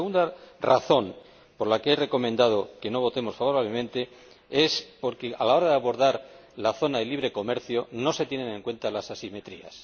La segunda razón por la que he recomendado que no votemos favorablemente es porque a la hora de abordar la zona de libre comercio no se tienen en cuenta las asimetrías.